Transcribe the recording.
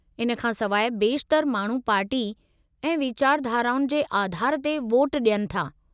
इन खां सवाइ, बेशितरु माण्हू पार्टी ऐं वीचारधाराउनि जे आधारु ते वोटु डि॒यनि था।